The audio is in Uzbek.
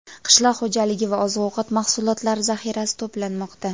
qishloq xo‘jaligi va oziq-ovqat mahsulotlari zaxirasi to‘planmoqda.